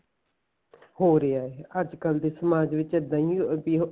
ਹੋਰ ਯਾਰ ਅੱਜਕਲ ਦੇ ਸਮਾਜ ਵਿੱਚ ਇੱਦਾਂ ਈ ਐ